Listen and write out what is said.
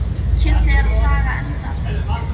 Kiddi er að saga enda af spýtu.